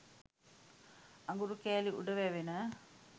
අඟුරු කැලි උඩ වැවෙන